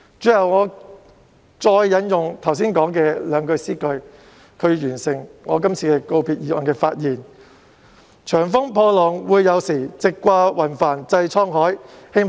最後，我想引用剛才引述的詩歌最後兩句來總結我這次就告別議案的發言："長風破浪會有時，直掛雲帆濟滄海。